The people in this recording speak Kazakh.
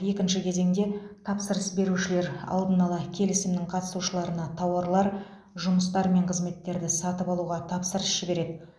екінші кезеңде тапсырыс берушілер алдын ала келісімнің қатысушыларына тауарлар жұмыстар мен қызметтерді сатып алуға тапсырыс жібереді